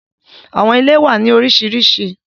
Àwọn ìlẹ̀ wà ní lórisírísí.